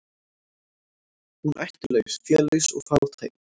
Hún ættlaus, félaus og fátæk.